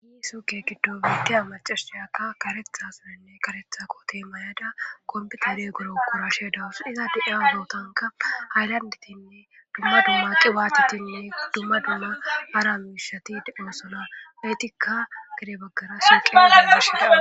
isuke giddo biitiya macashiyaka karetha sinenne karetha kote mayada kombeta de guro korashe dawus iza deeya obootanka ayllandetinne dumma dumma qiwaatitinne dumma dumma ara miishati doosona leytikka gede baggara suuqeagashida